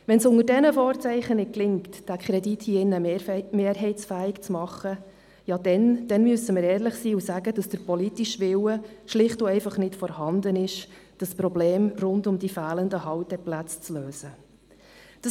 Wenn es unter diesen Vorzeichen nicht gelingt, diesen Kredit hier im Rat mehrheitsfähig zu machen – ja, dann müssen wir ehrlich sein und sagen, dass der politische Wille, das Problem rund um die fehlenden Halteplätze zu lösen, einfach nicht vorhanden ist.